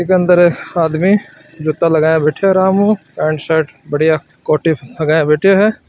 इ के अंदर आदमी जूता लगाया बैठो है आराम हु पेंट शर्ट बढ़िया कोटि लगाया बैठो है।